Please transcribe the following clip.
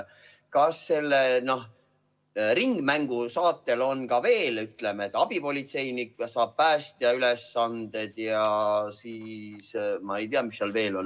Kas selle ringmängu moodi on nüüd ka nii, et abipolitseinik saab päästja ülesanded ja siis ma ei tea, mis seal veel on.